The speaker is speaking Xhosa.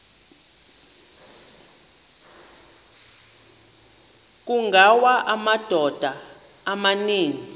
kungawa amadoda amaninzi